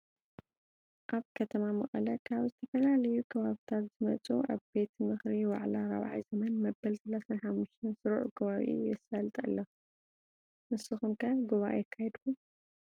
አብ ከተማ መቀለ ካብ ዝተፈላለዮ ከባብታት ዘመፁ አብቤት ምክር ዋዕላ 4ይ ዘመን መበል 35 ሰሩዕ ጉባኤኡ የሳልጥ አሎ ። ንስኩም ከ ጉባኤ አካይድኩም ?